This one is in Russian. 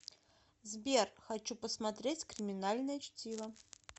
сбер хочу посмотреть криминальное чтиво